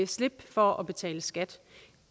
slippe for at betale skat